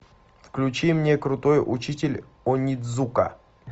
включи мне крутой учитель онидзука